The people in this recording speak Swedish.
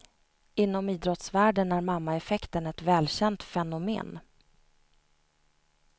Inom idrottsvärlden är mammaeffekten ett välkänt fenomen.